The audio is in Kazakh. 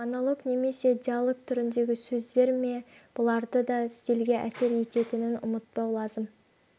монолог немесе диалог түріндегі сөздер ме бұларды да стильге әсер ететінін ұмытпау лазым